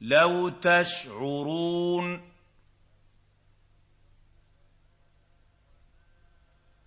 لَوْ تَشْعُرُونَ